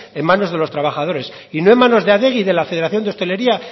en manos de los trabajos y no en manos de adegi y de la federación de hostelería